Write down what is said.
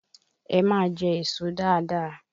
Ẹ máa jẹ èso dáadáa!